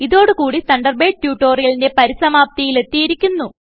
ഇതോടു കുടി തണ്ടർബേഡ് ട്യൂട്ടോറിയലിന്റെ പരിസമാപ്തിയിൽ എത്തിയിരിക്കുന്നു